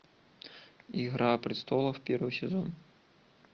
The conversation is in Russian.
игра престолов первый сезон